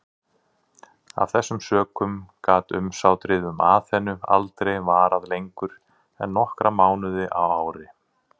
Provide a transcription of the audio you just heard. Af þessum sökum gat umsátrið um Aþenu aldrei varað lengur en nokkra mánuði á ári.